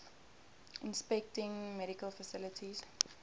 inspecting medical facilities